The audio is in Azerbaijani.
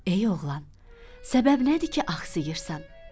Ey oğlan, səbəb nədir ki axsayırsan?